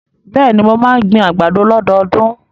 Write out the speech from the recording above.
Bẹ́ẹ̀ni, mo máa ń gbin àgbàdo lọ́dọọdún.